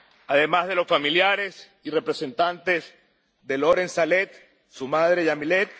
además de los familiares y representantes de Lorent Saleh, su madre, Yamile